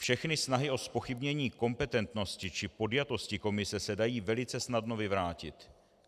Všechny snahy o zpochybnění kompetentnosti či podjatosti komise se dají velice snadno vyvrátit.